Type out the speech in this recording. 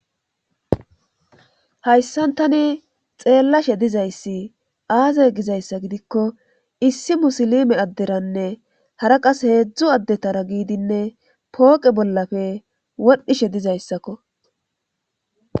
hayssan tani xeellashe dizayssi aaze gizayssa gidikko issi musilime adderanne hara qas heedzdzu addetara giidinne pooqe bollafe wodhdhishe dizayssakko